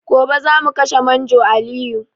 Gobe zamu kashe manjo Aliyu